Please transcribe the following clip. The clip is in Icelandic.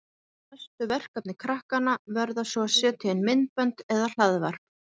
Næstu verkefni krakkanna verða svo að setja inn myndbönd eða hlaðvarp.